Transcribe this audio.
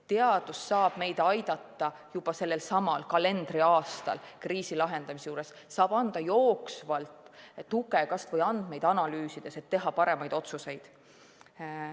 Teadus saab aidata meid juba selsamal kalendriaastal kriisi lahendamisega, saab anda jooksvalt tuge kas või andmeid analüüsides, et teha paremaid otsuseid.